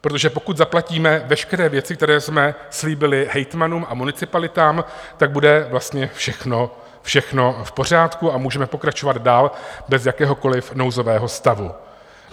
Protože pokud zaplatíme veškeré věci, které jsme slíbili hejtmanům a municipalitám, tak bude vlastně všechno v pořádku a můžeme pokračovat dál bez jakéhokoliv nouzového stavu.